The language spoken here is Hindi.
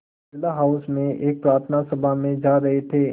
बिड़ला हाउस में एक प्रार्थना सभा में जा रहे थे